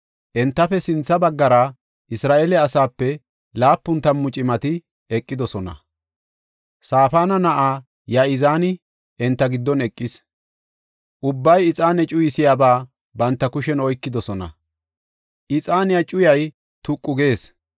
Entafe sintha baggara Isra7eele asaape laapun tammu cimati eqidosona; Safaana na7aa Ya7izaani enta giddon eqis. Ubbay ixaane cuyisiyaba banta kushen oykidosona; ixaaniya cuyay tuqu gees.